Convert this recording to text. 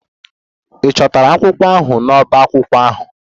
Ị chọtara akwụkwọ ahụ n'ọbá akwụkwọ ahụ?